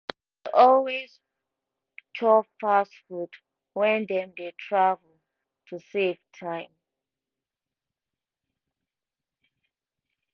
always chop fast food when dem dey travel to save time